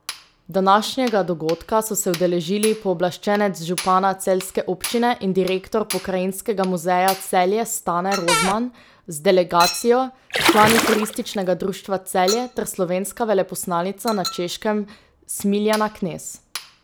Današnjega dogodka so se udeležili pooblaščenec župana celjske občine in direktor Pokrajinskega muzeja Celje Stane Rozman z delegacijo, člani Turističnega društva Celje ter slovenska veleposlanica na Češkem Smiljana Knez.